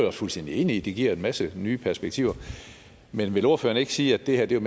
er fuldstændig enig i giver en masse nye perspektiver men vil ordføreren ikke sige at det her jo